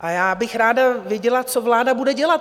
A já bych ráda věděla, co vláda bude dělat.